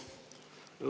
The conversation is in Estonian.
Aitäh!